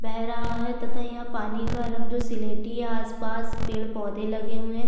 बह रहा है तथा यह पानी का रंग जो स्लेटी है आस - पास पेड़ - पौधे लगे हुए है।